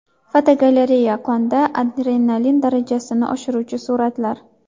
Fotogalereya: Qonda adrenalin darajasini oshiruvchi suratlar.